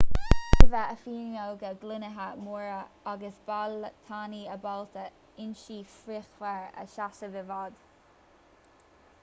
ní bheadh a fuinneoga gloinithe móra agus ballaí tanaí ábalta ionsaí fíochmhar a sheasamh i bhfad